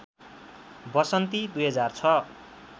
वसन्ती २००६